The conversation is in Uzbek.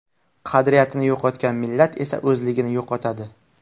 Qadriyatini yo‘qotgan millat esa o‘zligini yo‘qotadi.